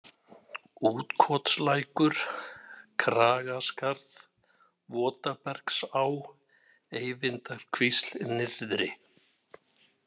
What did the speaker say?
Útkotslækur, Kragaskarð, Votabergsá, Eyvindarkvísl nyrðri